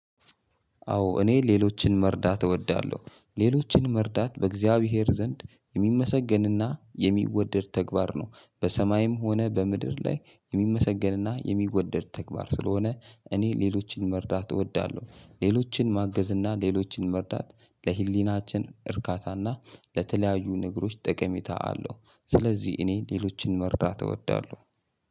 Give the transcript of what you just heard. አዎ እኔ ሌሎችን መርዳት እወዳለሁ ሌሎችን መርዳት በእግዚአብሔር ዘንድ የሚመሰገን እና የሚወደድ ተግባር ነው በሰማይም ሆነ በምድር ላይ የሚመሰገን እና የሚወደድ ተግባር ስለሆነ እኔ ሌሎችን መርዳት እወዳለሁ። ሌሎችን ማገዝ እና ሌሎችን መርዳት ለህሊናችን እርካታ እና ለተለያዩ ነገሮች ጠቀሜታ አለው። ስለዚህ እኔ ሌሎችን መርዳት እወዳለሁ።